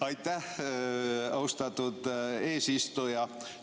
Aitäh, austatud eesistuja!